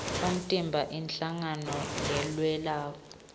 umtimba inhlangano lelwela